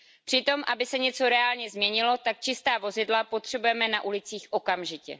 Přitom, aby se něco reálně změnilo, tak čistá vozidla potřebujeme na ulicích okamžitě.